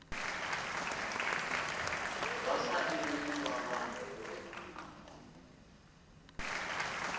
va fanele ku va va